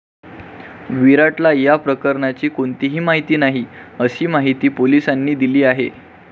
विराटला या प्रकरणाची कोणतीही माहिती नाही, अशी माहिती पोलिसांनी दिली आहे.